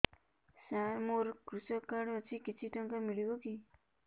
ସାର ମୋର୍ କୃଷକ କାର୍ଡ ଅଛି କିଛି ଟଙ୍କା ମିଳିବ କି